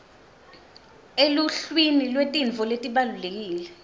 eluhlwini lwetintfo letibalulekile